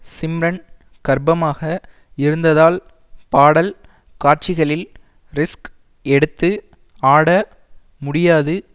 சிம்ரன் கர்ப்பமாக இருந்ததால் பாடல் காட்சிகளில் ரிஸ்க் எடுத்து ஆட முடியாது